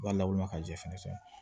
U b'a lawulima ka jɛ fɛnɛ san